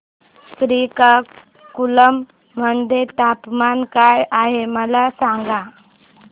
श्रीकाकुलम मध्ये तापमान काय आहे मला सांगा